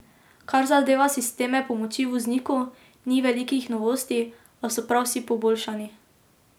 Kar zadeva sisteme pomoči vozniku, ni velikih novosti, a so prav vsi poboljšani.